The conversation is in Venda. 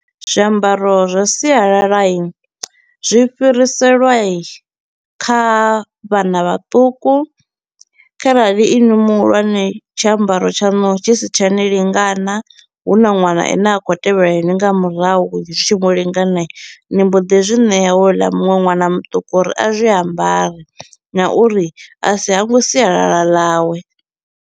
Zwiambaro zwa sialala i zwi fhiriselwa kha vhana vhaṱuku, kharali inwi muhulwane tshiambaro tshaṋu tshi si tsha ni lingana hu na ṅwana a ne a kho u tevhela inwi nga murahu zwi tshi mu lingana i, ni mbo ḓi zwi ṋea houḽa muṅwe ṅwana muṱuku uri a zwi ambare na uri a si hangwe sialala ḽawe.